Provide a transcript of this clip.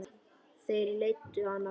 Þeir leiddu hann burt.